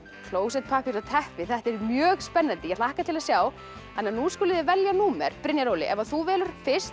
klósettpappír og teppi þetta er mjög spennandi ég hlakka til að sjá nú skuluð þið velja númer Brynjar Óli ef þú velur fyrst